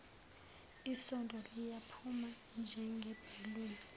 isondo liyaqhuma njengebhaluni